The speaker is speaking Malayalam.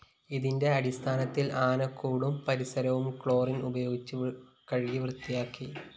ഇതിന്റെ അടിസ്ഥാനത്തില്‍ ആനകൂടും പരിസരവും ക്ലോറിൻ ഉപയോഗിച്ച് കഴുകി വൃത്തിയാക്കി